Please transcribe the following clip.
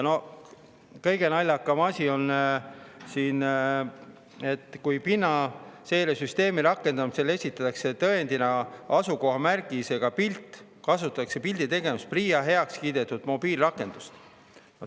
Kõige naljakam asi on siin see, et kui pinnaseiresüsteemi rakendamisel esitatakse tõendina asukohamärgisega pilt, kasutatakse pildi tegemiseks PRIA heakskiidetud mobiilirakendust.